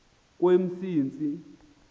kwemsintsi